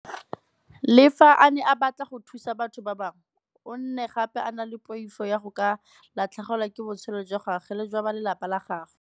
Le fa a ne a batla go thusa batho ba bangwe, o ne gape a na le poifo ya go ka latlhegelwa ke botshelo jwa gagwe le jwa ba lelapa la gagwe.